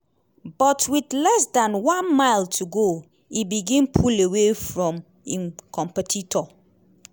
but wit less dan one mile to go e begin pull away from im competitor.